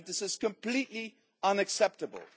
I think this is completely unacceptable.